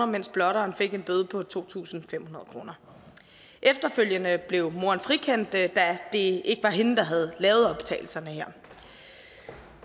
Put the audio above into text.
mens blotteren fik en bøde på to tusind fem hundrede kroner efterfølgende blev moderen frikendt da det ikke var hende der havde lavet optagelserne her